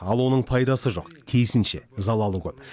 ал оның пайдасы жоқ тиісінше залалы көп